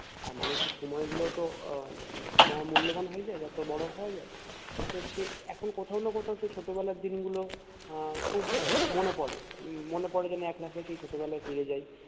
আর মানুষের সময় গুলো তো আহ মহা মূল্যবান হয়ে যাই অর্থাৎ বড়ো হওয়া যাই তো সে এখন কোথাও না কোথাও সেই ছোট বেলার দিন গুলো আহ খুব মনে পরে মনে পরে যেন এক লাফে সেই ছোট বেলায় ফিরে যাই